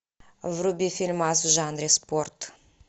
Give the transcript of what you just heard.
вруби фильмас в жанре спорт